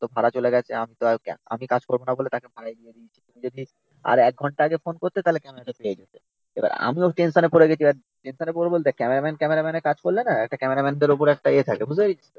তো ভাড়া চলে গেছে আমি তো আর আমি কাজ করবনা বলে তাকে ভাড়ায় দিয়ে দিয়েছি। যদি আর একঘন্টা আগে ফোন করতে তাহলে ক্যামেরা টা পেয়ে যেতে। এবার আমি ও টেনশনে পড়ে গেছি। টেনশনে পড়ব বলতে ক্যামেরাম্যান ক্যামেরাম্যানের কাজ করলে না একটা ক্যামেরাম্যানদের ওপর একটা এ থাকে। বুঝতে পেরেছিস তো?